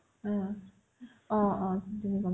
haa অ অ এজনী